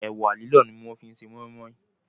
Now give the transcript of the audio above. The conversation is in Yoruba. Ẹ̀wà lílọ̀ ni wọ́n fi ṣe Mọ́í mọ́í